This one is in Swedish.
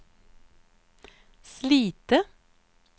Slite